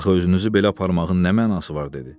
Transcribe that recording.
Axı özünüzü belə aparmağın nə mənası var?